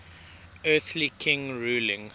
earthly king ruling